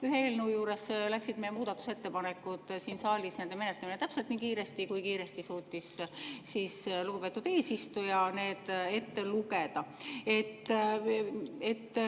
Ühe eelnõu puhul läks meie muudatusettepanekute menetlemine siin saalis täpselt nii kiiresti, kui kiiresti suutis lugupeetud eesistuja neid ette lugeda.